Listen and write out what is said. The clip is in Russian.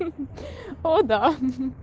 хи-хи о да